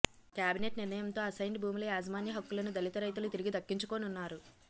cabinet నిర్ణయంతో assigned భూముల యాజమాన్య హక్కులను దళిత రైతులు తిరిగి దక్కించుకోనున్నారు